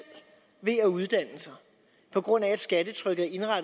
ved at uddanne sig på grund af at skattetrykket